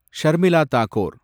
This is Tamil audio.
ஷர்மிளா தாக்கூர்